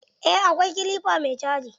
Eh akwai kilifa mai caji.